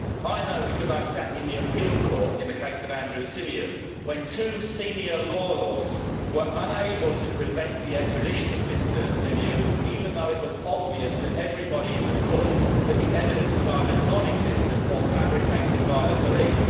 I know because I sat in the appeal court in the case of Andrew Symeou when two Senior Law Lords were unable to prevent the extradition of Mr Symeou, even though it was obvious to everybody in the court that the evidence was either non existent or fabricated by the police.